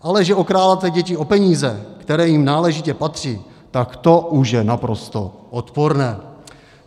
Ale že okrádáte děti o peníze, které jim náležitě patří, tak to už je naprosto odporné.